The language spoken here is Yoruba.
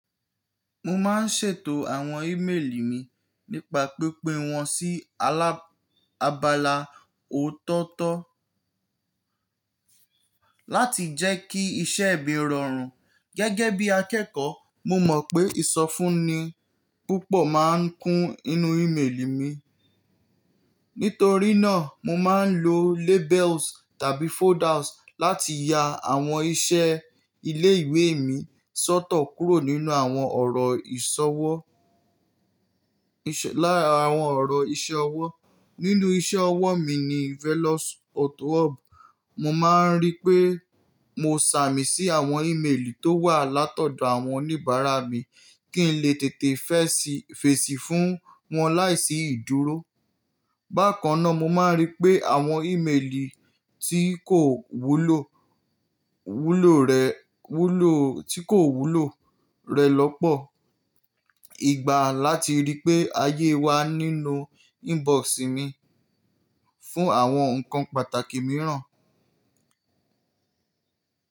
Mo máa ń ṣètò àwọn ímeèlì mi nípa pínpín wọn sí alábàlá ọ̀tọ̀ọ̀tọ̀ láti jẹ́ kí iṣẹ́ mi rọrùn. Gẹ́gẹ́ bí akẹ́kọ̀ọ́, mo mọ̀ pé ìsọfúnni púpọ̀ máa ń kún inú ímeèlì mi. Nítorí náà, mo máa ń lo labels tàbí folders láti ya àwọn iṣẹ́ ilé ìwé mi sọ́tọ kúrò nínú àwọn ọ̀rọ̀ ìṣọwọ́, lára awọn ọ̀rọ̀ iṣẹ́ ọwọ́. Nínú iṣẹ́ ọwọ́ mi ní Velos Auto Hub, mo máa ń rí pé mo sàmì sí àwọn ímeèlì tó wà látọ̀dọ̀ àwọn oníbàárà mi kí n lè tètè fesi fèsì fún wọn láìsí ìdúró. Bákan náà, mo máa ń rí pé àwọn ímeèlì tí kò wúlò, wúlò rẹ̀, wúlò, tí kò wúlò rẹ lọ́pọ̀ ìgbà láti rí pé a yé wa nínú inbox mi fún àwọn nǹkan pàtàkì mìíràn.